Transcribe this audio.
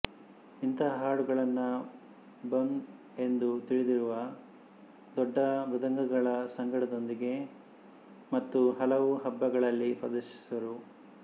ಇಂತಹ ಹಾಡುಗಳನ್ನು ಬಂಬ್ ಎಂದು ತಿಳಿದಿರುವ ದೊಡ್ಡ ಮೃದಂಗಗಳ ಸಂಗಡದೊಂದಿಗೆ ಮತ್ತು ಹಲವು ಹಬ್ಬಗಳಲ್ಲಿ ಪ್ರದರ್ಶಿಸುವರು